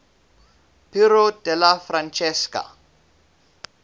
piero della francesca